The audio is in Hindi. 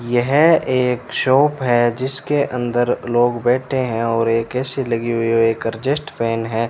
यह एक शॉप है जिसके अंदर लोग बैठे हैं और एक ए_सी लगी हुई है और एक एक्जास्ट फैन है।